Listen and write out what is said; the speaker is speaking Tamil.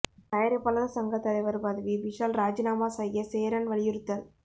தயாரிப்பாளர் சங்க தலைவர் பதவியை விஷால் ராஜினாமா செய்ய சேரன் வலியுறுத்தல்